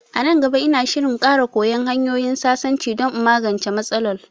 A nan gaba, ina shirin ƙara koya hanyoyin sasanci don in magance matsalol